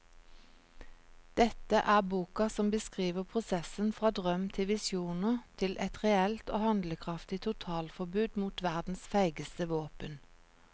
Dette er boka som beskriver prosessen fra drøm til visjoner til et reelt og handlekraftig totalforbud mot verdens feigeste våpen.